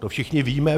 To všichni víme.